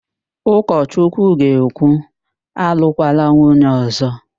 Ụkọchukwu ga-ekwu, alụkwala nwunye ọ̀zọ́!